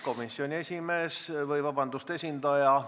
Komisjoni esimees – vabandust!